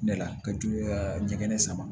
Ne la ka di ka ɲɛgɛn sama